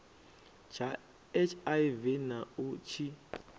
tsha hiv na u tshi